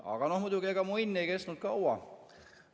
Aga muidugi mu õnn ei kestnud kaua.